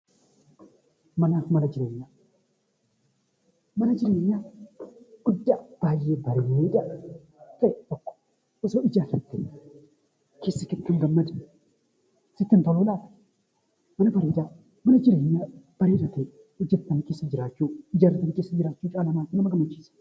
Mana jireenyaa guddaa baay'ee bareedaa ta'e tokko osoo ijaarrattee keessatti kan gammaddu sitti hin toluu laata! Mana bareedaa, mana jireenyaa bareedaa ta'e hojjettanii keessa jiraachuu caalaa maaltu nama gammachiisa!